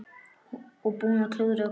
Og búinn að klúðra öllu!